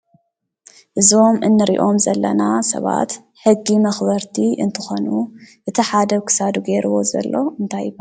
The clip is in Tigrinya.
እዞም እንሪኦም ዘለና ሰባት ሕጊ መኽበርቲ እንትኾኑ እቲ ሓደ ኣብ ክሳዱ ገይሩዎ ዘሎ እንታይ እዩ?